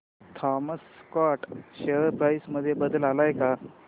Thomas Scott share price मध्ये बदल आलाय का